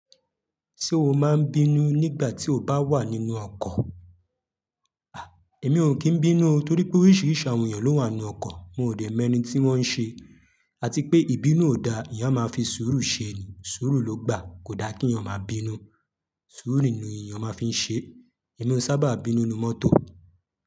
Ṣé o máa ń bínú nígbà tí o bá wà nínú ọkọ̀? À, èmi ò kí ń bínú, torí pé oríṣiríṣi àwọn èèyàn ló wà n nú ọkọ̀. Mo ò dẹ̀ mọ ẹni tí wọ́n ń ṣe, àti pé ìbínú ò da. Èèyán máa fi sùúrù ṣe ẹni, sùúrù ló gbà. Kò da kí èèyàn máa bínú. Sùúrù nì èèyàn máa fi n ṣe. Èmi ó sábà bínú nínú mọ́tò.